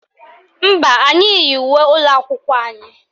Mba, anyị yi uwe ụlọakwụkwọ anyị